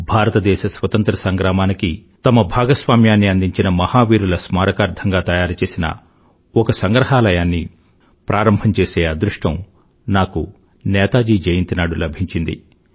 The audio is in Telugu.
భారతదేశ స్వతంత్ర సంగ్రామానికి తమ భాగస్వామ్యాన్ని అందించిన మహావీరుల స్మారకార్థంగా తయారుచేసిన ఒక సంగ్రహాలయాన్నిమ్యూజియంను ప్రారంభం చేసే అదృష్టం నాకు నేతాజీ జయంతి నాడు లభించింది